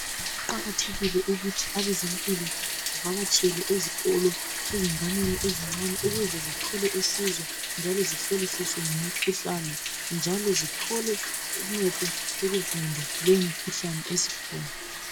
Kuqakathekile ukuthi ebezempilo bevakatshele ezikolo, ezinganeneni ezincane ukuze zithole usizo, njalo zihlolisiswe ngemikhuhlane, njalo zithole uncedo lokuvimba leyo imikhuhlane esikhona.